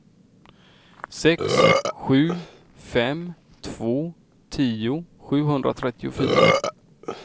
sex sju fem två tio sjuhundratrettiofyra